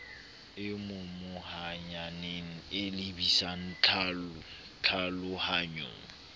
e momohaneng e lebisang tlhalohanyong